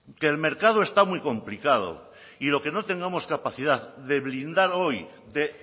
que el mercado está muy complicado y lo que no tengamos capacidad de blindar hoy de